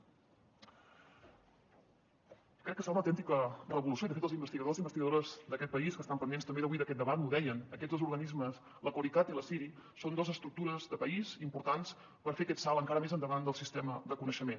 crec que serà una autèntica revolució i de fet els investigadors i investigadores d’aquest país que estan pendents també avui d’aquest debat m’ho deien aquests dos organismes el corecat i la ciri són dos estructures de país importants per fer aquest salt encara més endavant del sistema de coneixement